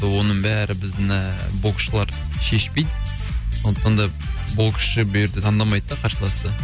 оның бәрі біздің ііі боксшылар шешпейді сондықтан да боксшы бұерде таңдамайды да қарсыласты